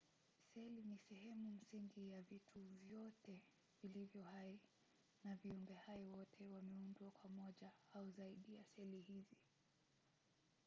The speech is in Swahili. seli ni sehemu msingi ya vitu vyote vilivyo hai na viumbehai wote wameundwa kwa moja au zaidi ya seli hizi